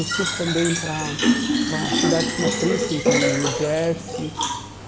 Eu fui também para para uma cidade que se chama Princeton, em New Jersey.